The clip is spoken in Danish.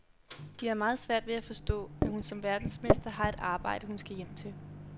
De har meget svært ved at forstå, at hun som verdensmester har et arbejde, hun skal hjem til.